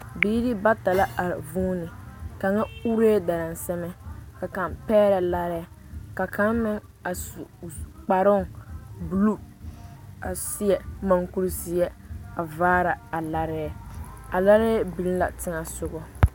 Biire bata la a vuune kaŋa uree dansama ka kaŋ pɛgrɛ larɛɛ ka kaŋ meŋ a su o kparoŋ bluu a seɛ mankurizeɛ a vaara a larɛɛ a larɛɛ biŋ la teŋɛsugɔ.